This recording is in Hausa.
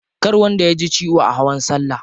Kar wanda yaji ciwo a hawan salla.